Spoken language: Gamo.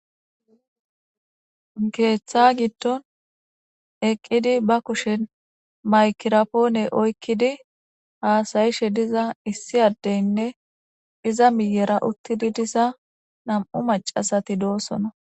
Ketha gidon eqidi ba kushen maygira pone oykidi hasayishe diza issi adeynne iza miyera utidi diza nam'u macasati dosona